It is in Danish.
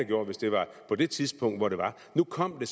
gjort hvis det var på det tidspunkt hvor det var nu kom det